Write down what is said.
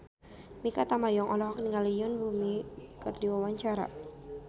Mikha Tambayong olohok ningali Yoon Bomi keur diwawancara